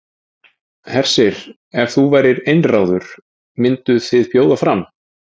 Hersir: Ef þú værir einráður, mynduð þið bjóða fram?